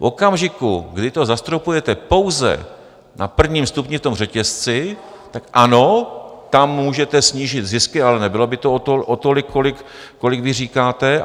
V okamžiku, kdy to zastropujete pouze na prvním stupni v tom řetězci, tak ano, tam můžete snížit zisky, ale nebylo by to o tolik, kolik vy říkáte.